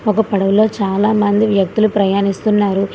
ఒక పడవలో చాలామంది వ్యక్తులు ప్రయాణిస్తున్నారు.